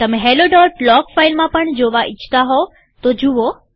તમે helloલોગ ફાઈલમાં પણ જોવા ઈચ્છતા હશો તો જુઓ